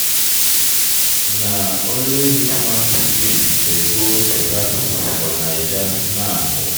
Na only rich man pikin dey go better school for Naija now.